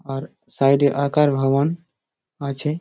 আর side এ আঁকার ভবন আছে।